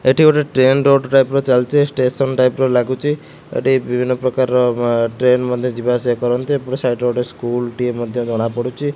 ଏଠି ଗୋଟେ train road type ଚାଲିଛି ଷ୍ଟେସନ ଟାଇପ୍ ର ଲାଗୁଛି ଏଠି ବିଭିନ୍ନ ପ୍ରକାରର ଆ ଟ୍ରେନ୍ ମଧ୍ୟ ଯିବା ଆସିବା କରନ୍ତି ଏପଟ ସାଇଡ୍ ରେ ଗୋଟେ ସ୍କୁଲ୍ ଟେ ମଧ୍ୟ ଜଣା ପଡୁଛି।